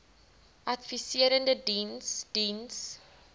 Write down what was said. adviserende diens diens